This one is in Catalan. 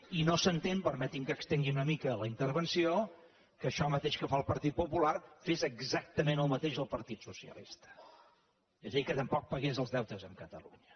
i no s’entén permeti’m que estengui una mica la intervenció que això mateix que fa el partit popular ho fes exactament el mateix el partit socialista és a dir que tampoc pagués el deutes amb catalunya